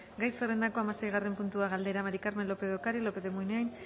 gai zerrendako hamaseigarren puntua galdera maría del carmen lópez de ocariz lópez de munain